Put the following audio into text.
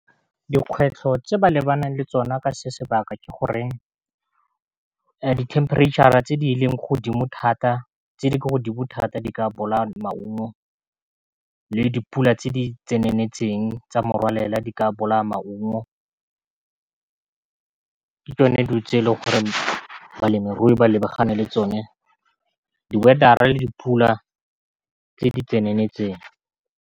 Dikgwetlho tse ba lebaneng le tsona ka se sebakwa ke goreng di temperature-a tse di ko godimo thata di ka bola maungo le dipula tse di tseneletseng tsa morwalela di ka boloya maungo ke tsone dutse le gore balemirui ba lebagane le tsone di-weather le le dipula tse di tseneletseng.